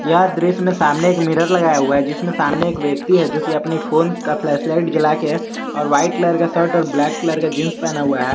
यह दृश्य में सामने एक मिरर लगाया हुआ है जिसमें सामने एक व्यक्ति है जो कि अपने फोन का फ्लैशलाइट जलाकर और वाइट कलर का शर्ट और ब्लैक कलर का जींस पहना हुआ है।